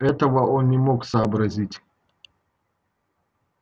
этого он не мог сообразить